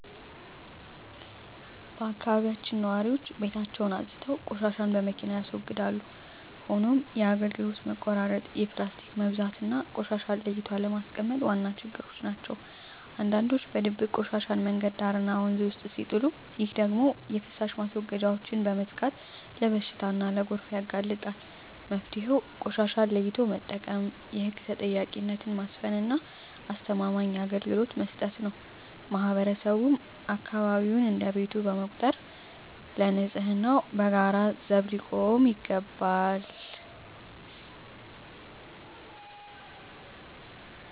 በአካባቢያችን ነዋሪዎች ቤታቸውን አፅድተው ቆሻሻን በመኪና ያስወግዳሉ። ሆኖም የአገልግሎት መቆራረጥ፣ የፕላስቲክ መብዛትና ቆሻሻን ለይቶ አለማስቀመጥ ዋና ችግሮች ናቸው። አንዳንዶች በድብቅ ቆሻሻን መንገድ ዳርና ወንዝ ውስጥ ሲጥሉ፣ ይህ ደግሞ የፍሳሽ ማስወገጃዎችን በመዝጋት ለበሽታና ለጎርፍ ያጋልጣል። መፍትሄው ቆሻሻን ለይቶ መጠቀም፣ የህግ ተጠያቂነትን ማስፈንና አስተማማኝ አገልግሎት መስጠት ነው። ማህበረሰቡም አካባቢውን እንደ ቤቱ በመቁጠር ለንፅህናው በጋራ ዘብ ሊቆም ይገባል።